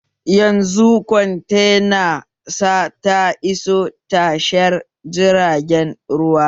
Yanzu kwantena sa ta iso tashar jiragen ruwa